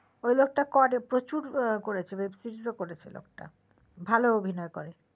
ওই লোকটা করে প্রচুর করেছে অনেক web series ও করেছে লোকটা ভালো অভিনয় করে